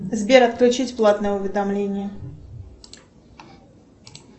сбер отключить платные уведомления